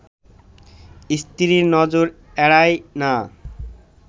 স্ত্রীর নজর এড়ায় না